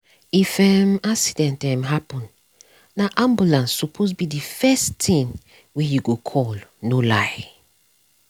if um accident um happen na ambulance suppose be the first thing wey you go call no lie.